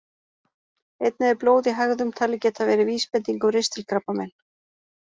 Einnig er blóð í hægðum talið geta verið vísbending um ristilkrabbamein.